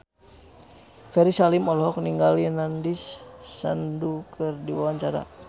Ferry Salim olohok ningali Nandish Sandhu keur diwawancara